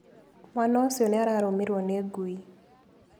Mwaana ũcio nĩ arũmirũo nĩ ngui.